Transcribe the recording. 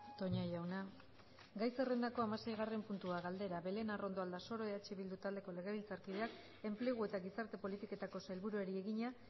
toña jauna gai zerrendako hamaseigarren puntua galdera belén arrondo aldasoro eh bildu taldeko legebiltzarkideak enplegu eta gizarte politiketako sailburuari egina